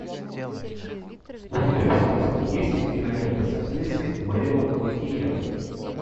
у тебя в списке есть кинолента с актрисой марион котийяр